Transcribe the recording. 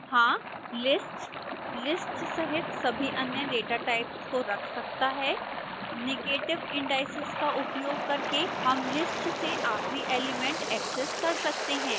2 हाँ list list सहित सभी अन्य data types को रख सकता है